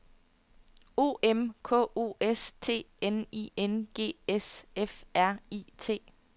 O M K O S T N I N G S F R I T